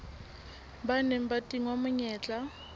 ba neng ba tingwa menyetla